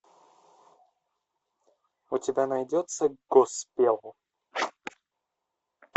у тебя найдется госпел